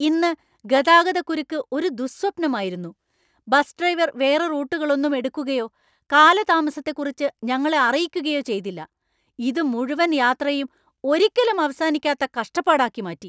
ഇന്ന് ഗതാഗതക്കുരുക്ക് ഒരു ദുഃസ്വപ്നമായിരുന്നു. ബസ് ഡ്രൈവർ വേറെ റൂട്ടുകളൊന്നും എടുക്കുകയോ കാലതാമസത്തെക്കുറിച്ച് ഞങ്ങളെ അറിയിക്കുകയോ ചെയ്തില്ല, ഇത് മുഴുവൻ യാത്രയും ഒരിക്കലും അവസാനിക്കാത്ത കഷ്ടപ്പാടാക്കി മാറ്റി!